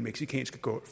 mexicanske golf